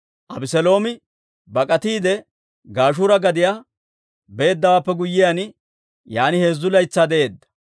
Abeseeloomi bak'atiide Gashuura gadiyaa beeddawaappe guyyiyaan, yaan heezzu laytsaa de'eedda.